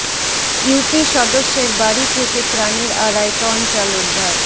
UP সদস্যের বাড়ি থেকে ত্রাণের আড়াই টন চাল উদ্ধার